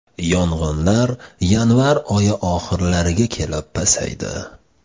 Yong‘inlar yanvar oyi oxirlariga kelib pasaydi.